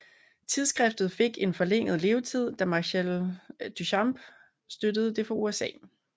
Tidsskriftet fik en forlænget levetid da Marcel Duchamp støttede det fra USA